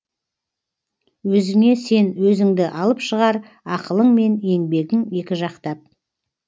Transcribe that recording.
өзіңе сен өзіңді алып шығар ақылың мен еңбегің екі жақтап